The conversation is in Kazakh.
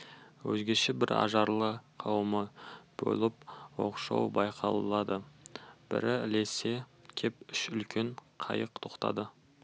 өзгеше бір ажарлы қауымы болып оқшау байқалады бірі ілесе кеп үш үлкен қайық тоқтады